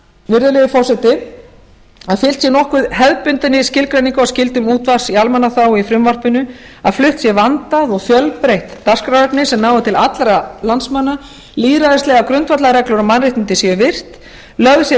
virðulegi forseti að fylgt sé nokkuð hefðbundinni skilgreiningu á skyldum útvarps í almannaþágu í frumvarpinu að flutt sé vandað og fjölbreytt dagskrárefni sem nái til allra landsmanna lýðræðislegar grundvallarreglur og mannréttindi séu virt lögð sé rækt